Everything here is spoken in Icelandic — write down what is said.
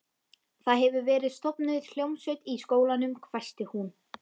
Það hefur verið stofnuð hljómsveit í skólanum hvæsti hún.